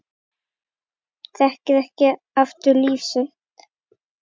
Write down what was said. Þekkir ekki aftur líf sitt